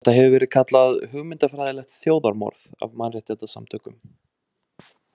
Þetta hefur verið kallað „hugmyndafræðilegt þjóðarmorð“ af mannréttindasamtökum.